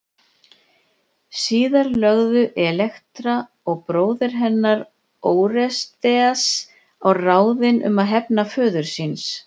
Síðar lögðu Elektra og bróðir hennar Órestes á ráðin um að hefna föður síns.